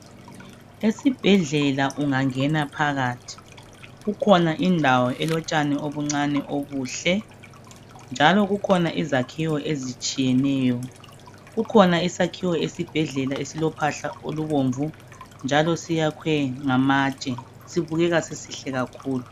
Esibhedlela ungangena phakathi kukhona indawo elotshani okuncane okuhle njalo kukhona izakiwo ezitshiyeneyo kukhona isakiwo esibhedlela esilophahla olubomvu njalo siyakwe ngamatshe sibubeka sisihle kakhulu.